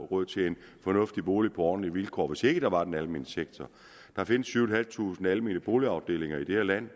råd til en fornuftig bolig på ordentlige vilkår hvis ikke der var den almene sektor der findes syv tusind almene boligafdelinger i det her land